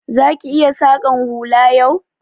Za ki iya saƙan hula yau?